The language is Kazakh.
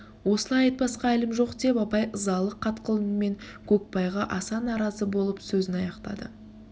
осылай айтпасқа әлім жоқ деп абай ызалы қатқыл үнмен көкбайға аса наразы болып сөзін аяқтады